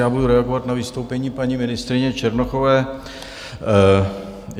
Já budu reagovat na vystoupení paní ministryně Černochové.